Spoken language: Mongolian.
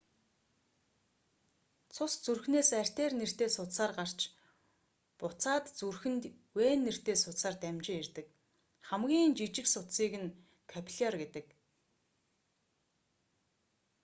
цус зүрхнээс артер нэртэй судсаар гарч буцаад зүрхэнд вен нэртэй судсаар дамжин ирдэг хамгийн жижиг судсыг нь капилляр гэдэг